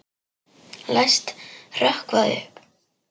Læst hrökkva upp.